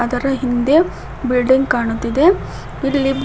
ಇದರ ಹಿಂದೆ ಬಿಲ್ಡಿಂಗ್ ಕಾಣುತಿದೆ ಇಲ್ಲಿ--